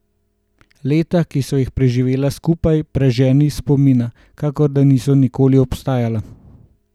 Leta, ki sva jih preživela skupaj, preženi iz spomina, kakor da niso nikoli obstajala.